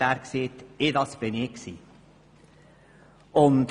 Da sagte er, das sei er selber gewesen.